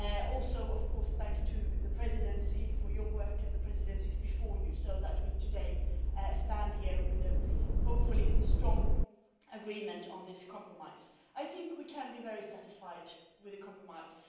Also thanks to the Presidency for its work and the presidencies before it so that today we stand here with, hopefully, a strong agreement on this compromise. I think we can be very satisfied with the compromise.